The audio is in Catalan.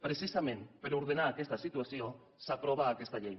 precisament per ordenar aquesta situació s’aprova aquesta llei